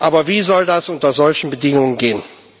Aber wie soll das unter solchen Bedingungen gehen?